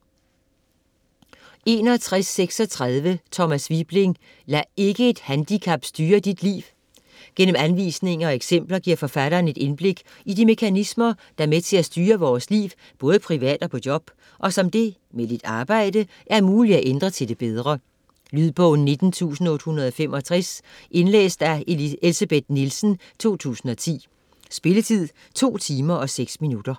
61.36 Wibling, Thomas: Lad ikke et handicap styre dit liv! Gennem anvisninger og eksempler giver forfatteren et indblik i de mekanismer, der er med til at styre vores liv både privat og på job, og som det, med lidt arbejde, er muligt at ændre til det bedre. Lydbog 19865 Indlæst af Elsebeth Nielsen, 2010. Spilletid: 2 timer, 6 minutter.